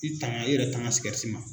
I tanga i yɛrɛ tanga sikɛriti ma.